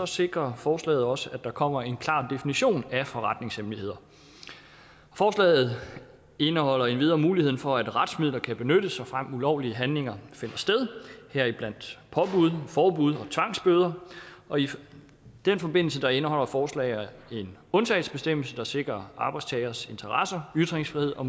sikrer forslaget også at der kommer en klar definition af forretningshemmeligheder forslaget indeholder endvidere muligheden for at retsmidler kan benyttes såfremt ulovlige handlinger finder sted heriblandt påbud forbud og tvangsbøder og i den forbindelse indeholder forslaget en undtagelsesbestemmelse der sikrer arbejdstageres interesser ytringsfrihed og